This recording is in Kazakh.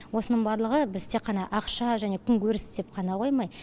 осының барлығы біз тек қана ақша және күнкөріс деп қана қоймай